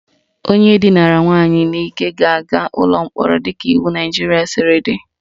Onye dinara nwaanyị n'ike ga-aga ụlọ mkpọrọ dịka iwu Naijiria siri dị